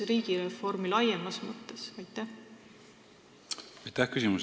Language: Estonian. Riigireformi laiemas mõttes ei ole ju tehtud.